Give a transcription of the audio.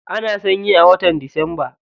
Ana sanyi a watan disamba.